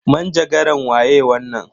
Manjagaran waye wannan?